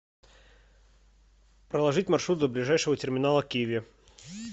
проложить маршрут до ближайшего терминала киви